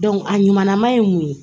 a ɲumanna ye mun ye